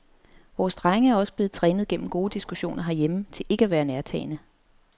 Vores drenge er også blevet trænet gennem gode diskussioner herhjemme til ikke at være nærtagende.